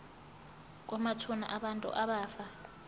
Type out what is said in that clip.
kwamathuna abantu abafa